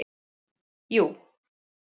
jú